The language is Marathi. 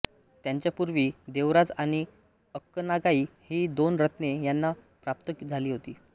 त्यांच्यापूर्वी देवराज आणि अक्कनागाई ही दोन रत्ने त्यांना प्राप्त झाली होती